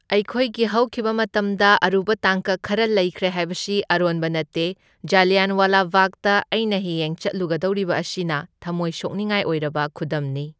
ꯑꯩꯈꯣꯢꯒꯤ ꯍꯧꯈꯤꯕ ꯃꯇꯝꯗ ꯑꯔꯨꯕ ꯇꯥꯡꯀꯛ ꯈꯔ ꯂꯩꯈ꯭ꯔꯦ ꯍꯥꯢꯕꯁꯤ ꯑꯔꯣꯟꯕ ꯅꯠꯇꯦ꯫ ꯖꯥꯂꯤꯌꯥꯟꯋꯥꯂꯥ ꯕꯥꯒꯇ ꯑꯩꯅ ꯍꯌꯦꯡ ꯆꯠꯂꯨꯒꯗꯧꯔꯤꯕ ꯑꯁꯤꯅ ꯊꯝꯃꯣꯏ ꯁꯣꯛꯅꯤꯡꯉꯥꯏ ꯑꯣꯏꯔꯕ ꯈꯨꯗꯝꯅꯤ꯫